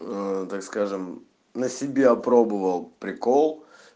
так скажем на себя пробовал прикол